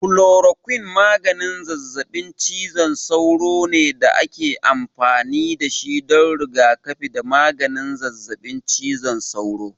Kulorokwin maganin zazzaɓin cizon sauro ne da ake amfani da shi don rigakafi da maganin zazzaɓin cizon sauro.